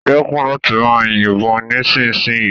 Dekun lati maa yibon nisinsinyii